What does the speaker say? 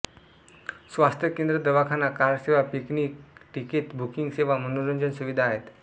स्वास्थ्य केंद्र दवाखाना कार सेवा पिकनिक टीकेत बुकिंग सेवा मनोरंजन सुविधा आहेत